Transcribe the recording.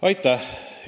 Aitäh!